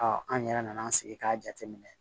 an yɛrɛ nana an sigi k'a jateminɛ